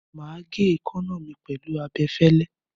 Màá gé èékánná mi pẹ̀lú abẹfẹ́lẹ́.